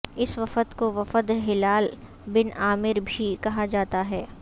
اس وفد کو وفد ہلال بن عامر بھی کہا جاتا ہے